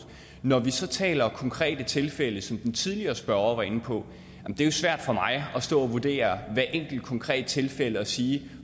når vi så taler om konkrete tilfælde som den tidligere spørger var inde på er det jo svært for mig at stå og vurdere hver enkelt konkrete tilfælde og sige